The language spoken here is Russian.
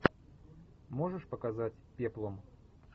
можешь показать пеплум